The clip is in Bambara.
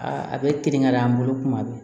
Aa a bɛ kinkɛ an bolo tuma bɛɛ